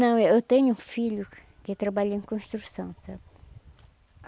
Não, eu tenho um filho que trabalha em construção, sabe?